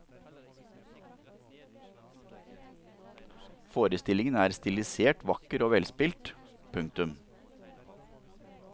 Forestillingen er stilisert vakker og velspilt. punktum